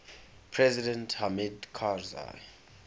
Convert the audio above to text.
president hamid karzai